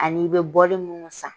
Ani i bɛ bɔli minnu san.